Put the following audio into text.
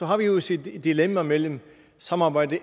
har vi jo set et dilemma mellem samarbejde